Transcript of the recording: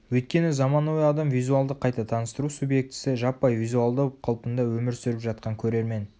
өйткені заманауи адам визуалды қайта таныстыру субъектісі жаппай визуалдау қалпында өмір сүріп жатқан көрермен